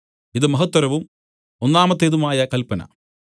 ഇത് മഹത്തരവും ഒന്നാമത്തേതുമായ കല്പന